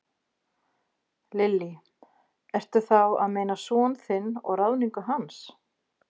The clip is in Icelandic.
Lillý: Ertu þá að meina son þinn og ráðningu hans?